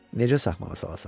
Necə saxmağa salasan?